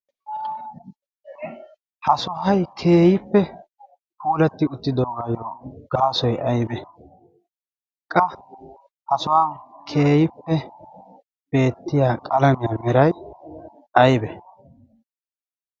ha sohay keeyippe puulatti uttidoogayyo gaasoy aybe qa hasohuwaan keeyippe beettiya qalamiyaa meray aybe?